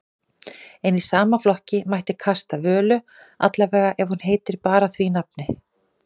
En í sama flokki mætti kasta Völu, allavega ef hún heitir bara því nafni.